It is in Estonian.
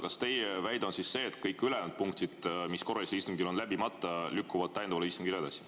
Kas teie väide on see, et kõik ülejäänud punktid, mis korralisel istungil on läbimata, lükkuvad edasi täiendavale istungile?